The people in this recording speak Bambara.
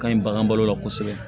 Ka ɲi bagan balo la kosɛbɛ